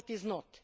No it is not.